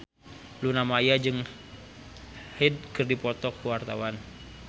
Luna Maya jeung Hyde keur dipoto ku wartawan